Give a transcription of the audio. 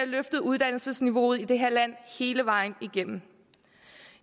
løftet uddannelsesniveauet i det her land hele vejen igennem